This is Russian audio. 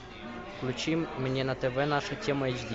включи мне на тв наша тема эйч ди